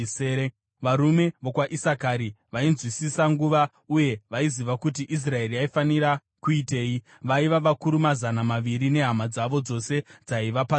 varume vokwaIsakari vainzwisisa nguva uye vaiziva kuti Israeri yaifanira kuitei, vaiva vakuru mazana maviri nehama dzavo dzose dzaiva pasi pavo;